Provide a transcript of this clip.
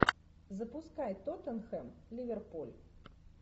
запускай тоттенхэм ливерпуль